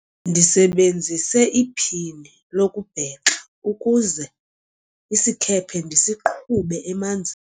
ndisebenzise iphini lokubhexa ukuze isikhephe ndisiqhube emanzini